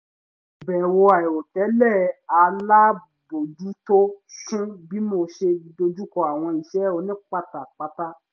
ìbẹ̀wò àìrò tẹ́lẹ̀ alábòójútó sún bí mo ṣe dojùkọ àwọn iṣẹ́ òní pátápátá